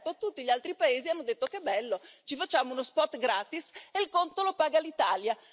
E certo, tutti gli altri Paesi hanno detto Che bello, ci facciamo uno spot gratis e il conto lo paga l'Italia!